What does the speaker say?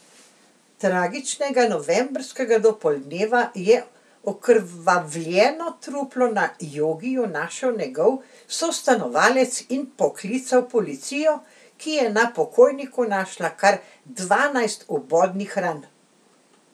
Tragičnega novembrskega dopoldneva je okrvavljeno truplo na jogiju našel njegov sostanovalec in poklical policijo, ki je na pokojniku našla kar dvanajst vbodnih ran.